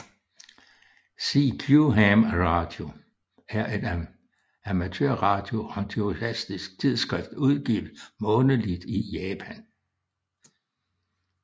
CQ ham radio er et amatørradio entusiast tidsskrift udgivet månedligt i Japan